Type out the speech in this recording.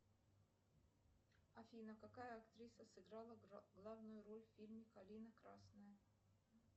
афина какая актриса сыграла главную роль в фильме калина красная